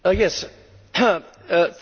Thank you very much for giving way.